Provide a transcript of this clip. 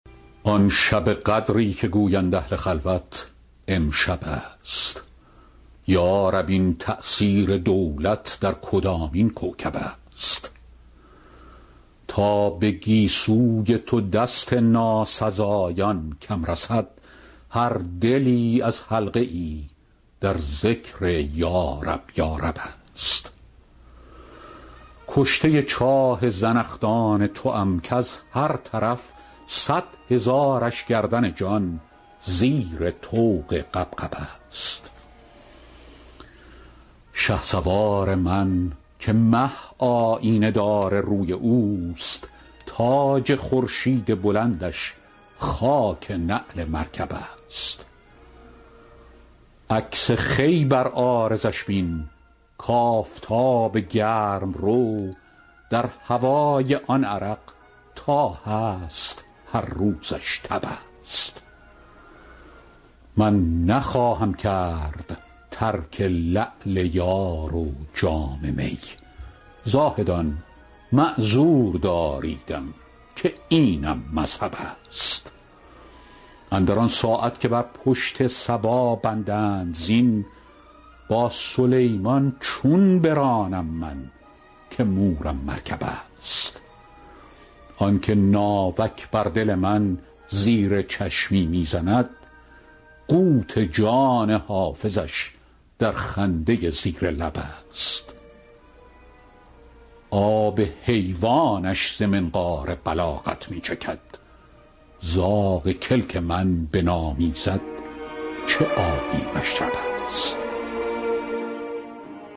آن شب قدری که گویند اهل خلوت امشب است یا رب این تأثیر دولت در کدامین کوکب است تا به گیسوی تو دست ناسزایان کم رسد هر دلی از حلقه ای در ذکر یارب یارب است کشته چاه زنخدان توام کز هر طرف صد هزارش گردن جان زیر طوق غبغب است شهسوار من که مه آیینه دار روی اوست تاج خورشید بلندش خاک نعل مرکب است عکس خوی بر عارضش بین کآفتاب گرم رو در هوای آن عرق تا هست هر روزش تب است من نخواهم کرد ترک لعل یار و جام می زاهدان معذور داریدم که اینم مذهب است اندر آن ساعت که بر پشت صبا بندند زین با سلیمان چون برانم من که مورم مرکب است آن که ناوک بر دل من زیر چشمی می زند قوت جان حافظش در خنده زیر لب است آب حیوانش ز منقار بلاغت می چکد زاغ کلک من بنامیزد چه عالی مشرب است